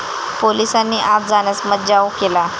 पोलिसांनी आत जाण्यास मज्जाव केला.